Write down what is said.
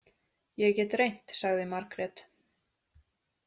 Ég get reynt, sagði Margrét.